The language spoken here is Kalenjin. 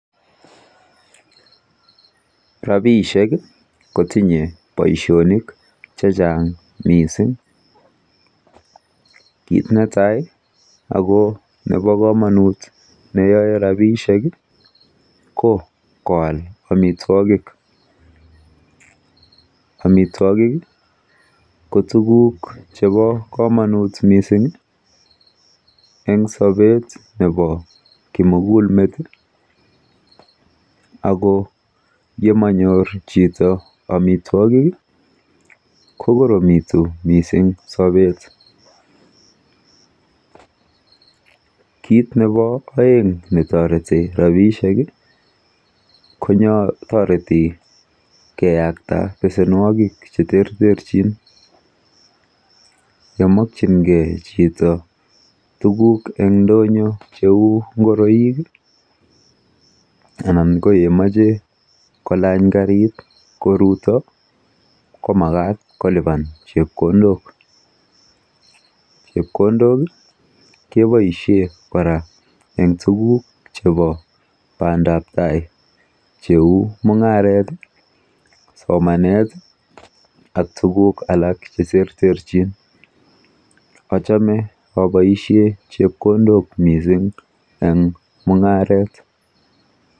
Rapiishek kotinye boishonik chechang mising. Kit netai ako nepo komonut neyoe rapiishek ko koal amitwokik. Amitwokik ko tuguk chepo komonut mising eng sobet nepo kimugulmet ako yemanyor chito amitwokik kokoromitu mising sopet. Kit nepo oeng netoreti rapiishek kotoreti keyakta besenwokik cheterterchin, yemokchingei chito tuguk eng ndonyo cheu nguroik anan ko yemoche kolany karit koruto ko makat kolipan chepkondok. Chepkondok keboishe kora eng tuguk chepo bandaptai cheu mung'aret, somanet ak tugukl alak cheterterchin. Achame aboishe chepkondok mising eng mung'aret.